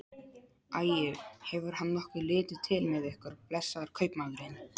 Æi, hefur hann nokkuð litið til með ykkur, blessaður kaupmaðurinn?